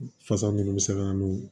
Fasa minnu bɛ se ka n'o